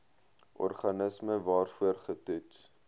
organisme waarvoor getoets